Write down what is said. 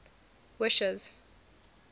wishes